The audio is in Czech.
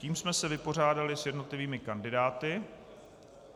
Tím jsme se vypořádali s jednotlivými kandidáty.